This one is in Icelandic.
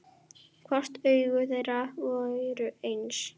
Hvort augu þeirra væru eins.